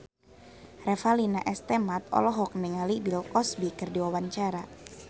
Revalina S. Temat olohok ningali Bill Cosby keur diwawancara